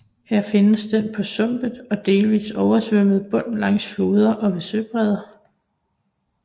Her findes den på sumpet og delvist oversvømmet bund langs floder og ved søbredder